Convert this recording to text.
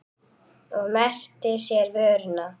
Og merkti sér vöruna.